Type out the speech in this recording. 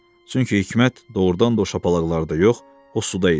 Çünki hikmət doğrudan da o şapalaqlarda yox, o suda idi.